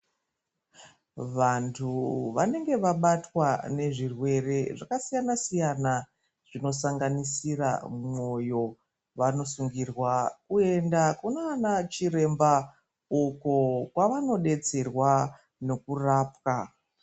Vantu vanenge vabatwa nezvirwere zvakasiyana siyana zvinosanganisira mwoyo vanosungirwa kuenda kunana chiremba uko kwavanodetserwa nekurapwa .